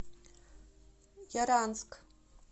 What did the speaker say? яранск